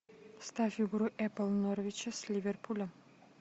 ставь игру апл норвича с ливерпулем